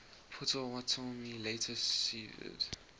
potawatomi later ceded